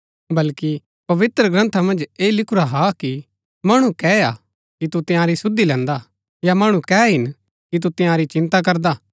बल्कि पवित्रग्रन्था मन्ज ऐह लिखुरा हा कि मणु कै हा कि तू तंयारी सुधि लैन्दा हा या मणु कै हिन कि तू तंयारी चिन्ता करदा हा